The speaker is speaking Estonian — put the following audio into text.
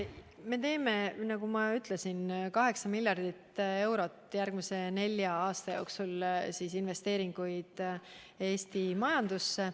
Me investeerime, nagu ma ütlesin, 8 miljardit eurot järgmise nelja aasta jooksul Eesti majandusse.